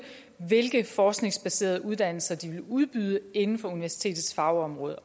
hvilke forskningsbaserede uddannelser de vil udbyde inden for universitetets fagområder